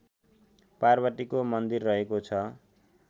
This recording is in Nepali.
पार्वतीको मन्दिर रहेको छ